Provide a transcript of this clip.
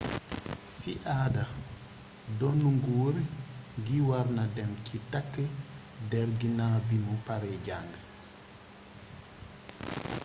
si aada donnu nguur gi warna dem si tak der ginaw bi mu pare jang